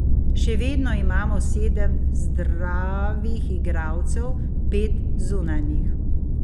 Še vedno imamo sedem zdravih igralcev, pet zunanjih.